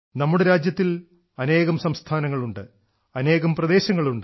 നമ്മുടെ രാജ്യത്തിൽ അനേകം സംസ്ഥാനങ്ങളുണ്ട് അനേകം പ്രദേശങ്ങളുണ്ട്